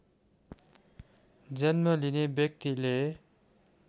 जन्म लिने व्यक्तिले